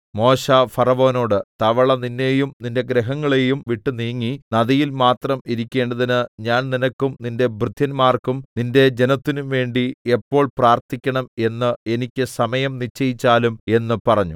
മോശെ ഫറവോനോട് തവള നിന്നെയും നിന്റെ ഗൃഹങ്ങളെയും വിട്ട് നീങ്ങി നദിയിൽ മാത്രം ഇരിക്കേണ്ടതിന് ഞാൻ നിനക്കും നിന്റെ ഭൃത്യന്മാർക്കും നിന്റെ ജനത്തിനുംവേണ്ടി എപ്പോൾ പ്രാർത്ഥിക്കണം എന്ന് എനിക്ക് സമയം നിശ്ചയിച്ചാലും എന്ന് പറഞ്ഞു